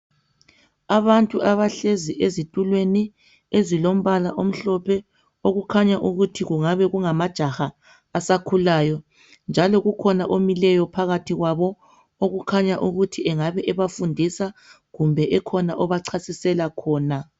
Abantu abahlezi ezitulweni ezilombala omhlophe okukhanya ukuthi kungabe kungamajaha asakhulayo . Njalo kukhona omileyo phakathi kwabo, okukhanya ukuthi engabe bebafundisa kumbe ekhona obachasisela khona.